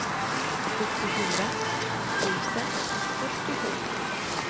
sjuttiofyra tusen fyrtiosju